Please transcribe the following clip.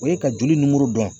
O ye ka joli nimoro dɔn.